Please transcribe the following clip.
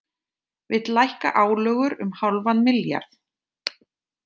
Vill lækka álögur um hálfan milljarð